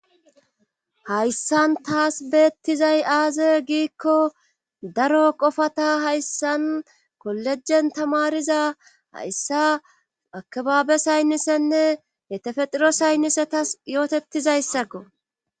hayssan taas beettizay aaze giikko daro qofata hayssan kollejen tamariza hayssa akabaabe saynnisenne yetefexiro saynnisetas yootettizayssakko